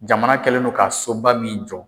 Jamana kɛlen don ka so ba min jɔ.